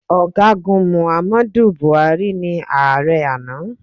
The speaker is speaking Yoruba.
Ọ̀gágun Muhammadu Buhari ni ààrẹ àná